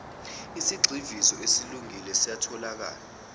isigxivizo esesilungile siyatholakala